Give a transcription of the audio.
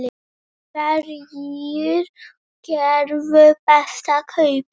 Hverjir gerðu bestu kaupin?